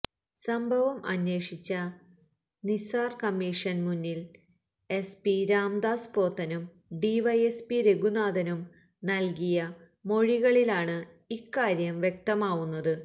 സംഭവം അന്വേഷിച്ച നിസാര് കമ്മീഷന് മുന്നില് എസ്പി രാംദാസ് പോത്തനും ഡിവൈഎസ്പി രഘുനാഥനും നല്കിയ മൊഴികളിലാണ് ഇക്കാര്യം വ്യക്തമാവുന്നത്